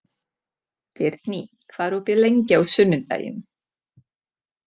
Geirný, hvað er opið lengi á sunnudaginn?